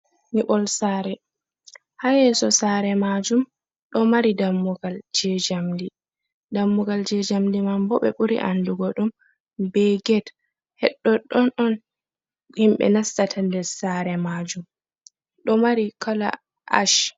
Nyiɓol sare haa yeso sare majum ɗo mari dammugal je jamdi dammugal je jamdi man bo ɓe ɓuri andugo ɗum be get hed ɗoɗɗon on himɓe nastata nder sare majum ɗo mari kala ash.